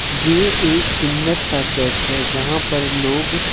ये एक सुंदर सा चर्च है जहां पर लोग--